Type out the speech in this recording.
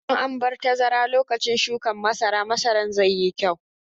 Idan an bar tazara lokacin shukan masara, masaran zai yi kyau.